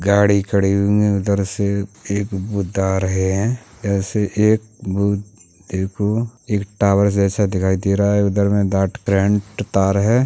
गाड़ी खड़ी हुं है। उधर से एक बुध आ रहे है। ऐसे एक बुध एको एक टॉवर जैसा दिखाई दे रहा है। उधर में दाट करेंट तार है।